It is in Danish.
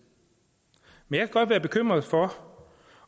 men jeg kan godt være bekymret for